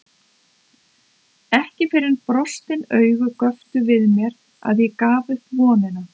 Ekki fyrr en brostin augu göptu við mér að ég gaf upp vonina.